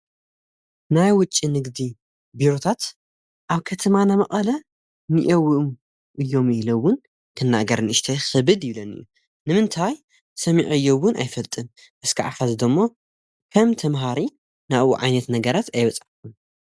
ናይ ውጭ ንጊዲ ቢሩታት ኣብ ከተማና መቐለ ንየውኡ እዮም ኢለውን ተናገር ንእሽተይ ኽብድ ይብለን እዩ ንምንታይ ሰሚዑ እዮውን ኣይፈልጥን እስኪ ዓፋ ዝዶ እሞ ከም ተምሃሪ ናብኡ ዓይነት ነገራት ኣይበጻኹን።